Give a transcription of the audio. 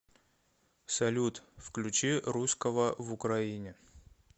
салют включи русского в украине